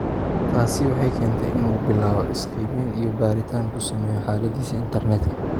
Taasi waxay keentay in uu bilaabo is-qiimayn iyo baaritaan ku sameeyo xaaladiisa internetka.